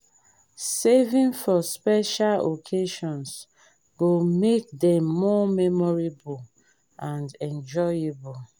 saving for special occasions go make dem more memorable and enjoyable.